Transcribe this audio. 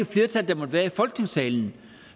flertal der måtte være i folketingssalen